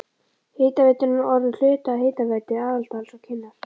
Hitaveitan er nú orðin hluti af Hitaveitu Aðaldals og Kinnar.